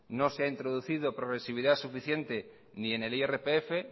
no se ha introducido progresividad suficiente ni en el irpf